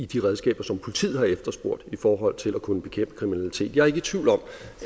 de redskaber som politiet har efterspurgt i forhold til at kunne bekæmpe kriminalitet jeg er ikke i tvivl om